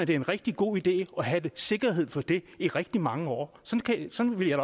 det er en rigtig god idé at have sikkerhed for det i rigtig mange år sådan ville